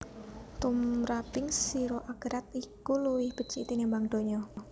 Tumraping sira akherat iku luwih becik tinimbang donya